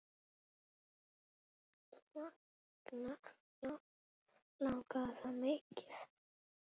Langaði það mikið.